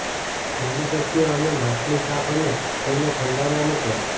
જલદી શક્ય અમે માછલી સાફ અને તેમને ઠંડા માં મૂકવામાં